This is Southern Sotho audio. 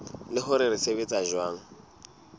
le hore se sebetsa jwang